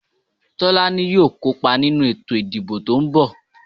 Tolaní yóò kó pa ninu eto ìdíbò to n bò.